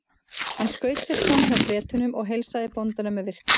Hann skaut sér fram hjá Bretunum og heilsaði bóndanum með virktum.